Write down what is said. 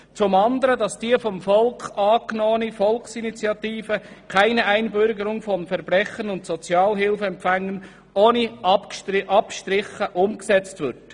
Zum anderen soll die vom Volk angenommene Volksinitiative «Keine Einbürgerung von Verbrechern und Sozialhilfeempfängern» ohne Abstriche umgesetzt werden.